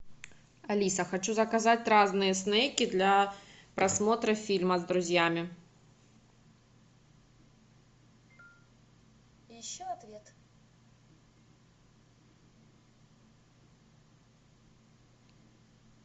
алиса хочу заказать разные снэки для просмотра фильма с друзьями